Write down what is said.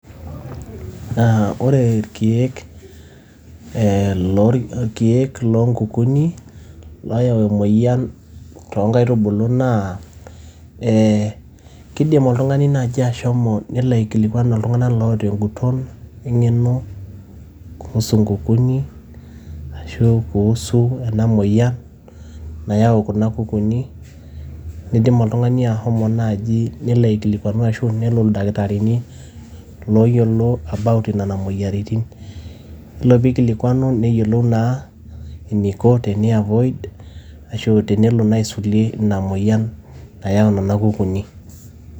Naa ore ilkiek eeh ilkiek loo nkukunik looyau emoyian too nkaitubulu naa ee kidim oltung`ani naaji ashomo nelo aikilikuan iltung`anak oota eng`uton e ng`eno kuhusu nkukuni ashu kuhusu ena moyian nayau kuna kukunik. Nidim oltung`ani ashomo naaji nelo aikilikuanu ashu nelo ildakitarini looyiolo about nena moyiaritin. Yiolo pee eikilikuanu neyiolou naa eniko teni avoid ashu tenelo naa aisulie ina moyian nayau nena kukunik.